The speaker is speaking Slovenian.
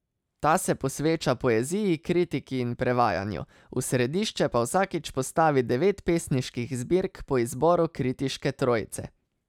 Ta se posveča poeziji, kritiki in prevajanju, v središče pa vsakič postavi devet pesniških zbirk po izboru kritiške trojice.